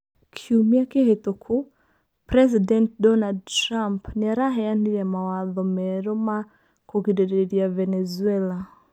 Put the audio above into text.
Kiumia kĩhĩtũku, President Donald Trump nĩaraheanire mawatho merũ ma kũgirĩrĩria Venezuela.